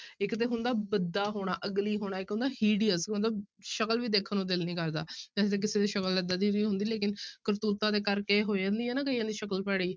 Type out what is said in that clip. ਇੱਕ ਤੇ ਹੁੰਦਾ ਭੱਦਾ ਹੋਣਾ ugly ਹੋਣਾ, ਇੱਕ ਹੁੰਦਾ hideous ਮਤਲਬ ਸ਼ਕਲ ਵੀ ਦੇਖਣ ਨੂੰ ਦਿਲ ਨੀ ਕਰਦਾ ਵੈਸੇ ਤਾਂ ਕਿਸੇ ਦੀ ਸ਼ਕਲ ਏਦਾਂ ਦੀ ਨੀ ਹੁੰਦੀ ਲੇਕਿੰਨ ਕਰਤੂਤਾਂ ਦੇ ਕਰਕੇ ਹੋ ਜਾਂਦੀ ਹੈ ਨਾ ਕਈਆਂ ਦੀ ਸ਼ਕਲ ਭੈੜੀ।